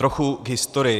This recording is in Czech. Trochu k historii.